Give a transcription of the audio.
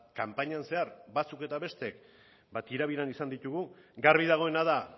kanpainan zehar batzuk eta bestek tira biran izan ditugu garbi dagoena da